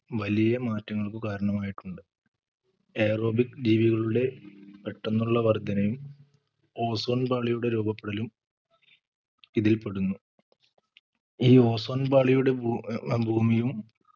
വലിയ മാറ്റങ്ങൾക്ക് കാരണമായിട്ടുണ്ട് Aerobic ജീവികളുടെ പെട്ടന്നുള്ള വർധനയും Ozone പാളിയുടെ രൂപപ്പെടലും ഇതിൽ പെടുന്നു ഈ Ozone പാളിയുടെ ഭൂ ഏർ ഭൂമിയും